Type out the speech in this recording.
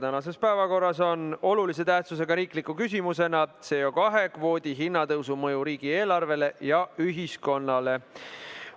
Tänases päevakorras on olulise tähtsusega riikliku küsimuse "Süsinikdioksiidi kvoodi hinnatõusu mõju riigieelarvele ja ühiskonnale" arutelu.